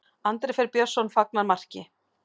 Andri Freyr Björnsson fagnar marki.